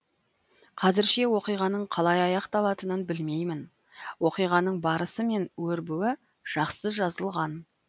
қазірше оқиғаның қалай аяқталатынын білмеймін оқиғаның барысы мен өрбуі жақсы жазылған